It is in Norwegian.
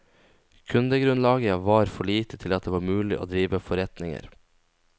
Kundegrunnlaget var for lite til at det var mulig å drive forretninger.